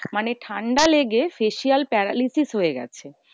মানে ঠান্ডা লেগে facial paralysis হয়ে গেছে।